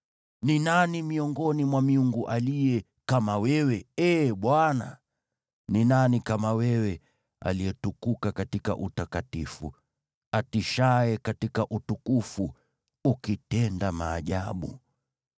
“Ni nani miongoni mwa miungu aliye kama wewe, Ee Bwana ? Ni nani kama Wewe: uliyetukuka katika utakatifu, utishaye katika utukufu, ukitenda maajabu?